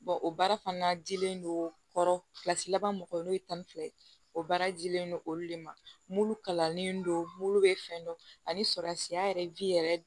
o baara fana dilen don kɔrɔ laban mɔgɔw n'o ye tan ni fila ye o baara jilen don olu de ma mulu kalannen don mlu bɛ fɛn dɔ ani surasiya yɛrɛ yɛrɛ